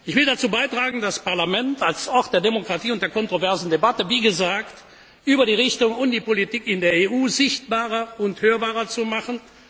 Ich will dazu beitragen, das Parlament als Ort der Demokratie und der kontroversen Debatte wie gesagt über die Richtung der Politik in der EU sichtbarer und hörbarer